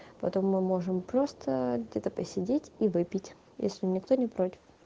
потом мы можем просто где-то посидеть и выпить если никто не против